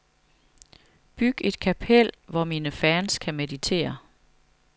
Byg et kapel, hvor mine fans kan meditere.